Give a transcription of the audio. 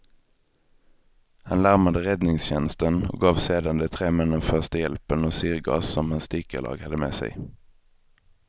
Han larmade räddningstjänsten och gav sedan de tre männen första hjälpen och syrgas som hans dykarlag hade med sig.